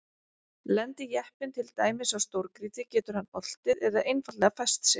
lendi jeppinn til dæmis á stórgrýti getur hann oltið eða einfaldlega fest sig